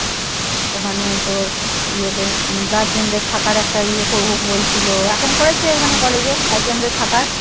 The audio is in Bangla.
ওখানে তোর ইয়েতে Gurdian দের থাকার একটা ইয়ে করবে বলেছিল। এখন করেছে ওখানে college এ? guardian দের থাকার?